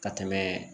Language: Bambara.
Ka tɛmɛ